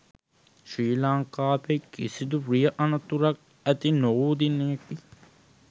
ශ්‍රී ලංකාවේ කිසිදු රිය අනතුරක් ඇති නොවූ දිනයකි